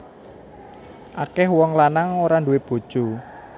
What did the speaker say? Akeh wong lanang ora duwé bojo